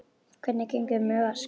Hvernig gengur með Vask?